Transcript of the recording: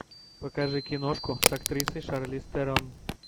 покажи киношку с актрисой шарлиз терон